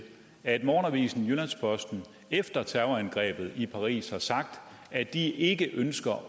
at morgenavisen jyllands posten efter terrorangrebet i paris har sagt at de ikke ønsker